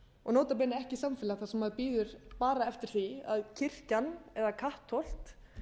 og nota bene ekki samfélag þar sem maður bíður bara eftir því að kirkjan eða kattholt